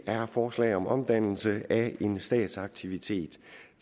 er forslag om omdannelse af en statsaktivitet